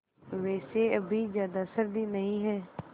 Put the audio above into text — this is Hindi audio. वैसे अभी ज़्यादा सर्दी नहीं है